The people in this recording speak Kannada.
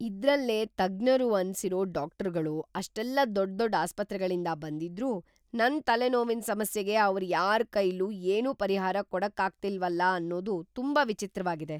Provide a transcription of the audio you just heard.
ಇದ್ರಲ್ಲೇ ತಜ್ಞರು ಅನ್ಸಿರೋ ಡಾಕ್ಟರ್ಗಳು ಅಷ್ಟೆಲ್ಲ ದೊಡ್ದೊಡ್‌ ಆಸ್ಪತ್ರೆಗಳಿಂದ ಬಂದಿದ್ರೂ ನನ್ ತಲೆನೋವಿನ್ ಸಮಸ್ಯೆಗೆ ‌ಅವ್ರ್‌ ಯಾರ್‌ ಕೈಲೂ ಏನೂ ಪರಿಹಾರ ಕೊಡಕ್ಕಾಗ್ತಿಲ್ವಲ ಅನ್ನೋದು ತುಂಬಾ ವಿಚಿತ್ರವಾಗಿದೆ!